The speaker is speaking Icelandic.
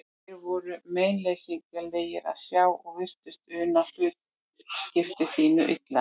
Þeir voru meinleysislegir að sjá og virtust una hlutskipti sínu illa.